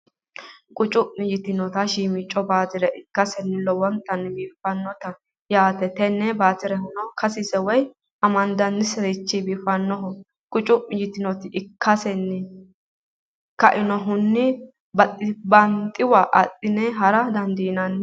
qucu'mi yitinnota shiimico mattire ikasenni lowonta biifannote yaate tenne batirehunno kasise woyi amandaniserichi biifannoho qucu'mi yitinotano ikasenni kainnohuni banxiwa adhi'ne hara dandiinanni.